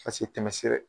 Ka se tɛmɛ sira ye